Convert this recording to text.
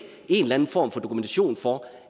en eller anden form for dokumentation for